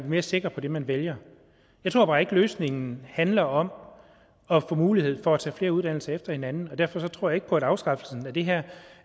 mere sikker på det man vælger jeg tror bare ikke at løsningen handler om at få mulighed for at tage flere uddannelser efter hinanden og derfor tror jeg ikke på at afskaffelsen af det her